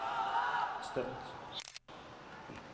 Støtt